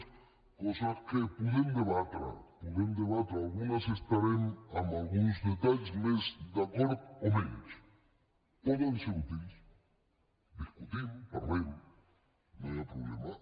coses que podem debatre podem debatre en algunes estarem en alguns detalls més d’acord o menys poden ser útils discutim parlem no hi ha problema